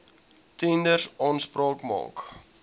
tenders aanspraak maak